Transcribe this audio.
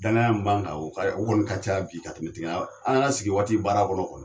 Danaya min ban kan o ka o kɔni ka ca bi ka kɛmɛ tigɛ ɲɔgɔn an yɛrɛ sigi waati baara kɔnɔ kɔni